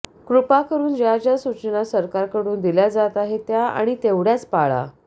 कृपा करून ज्या ज्या सूचना सरकारकडून दिल्या जात आहेत त्या आणि तेवढय़ाच पाळा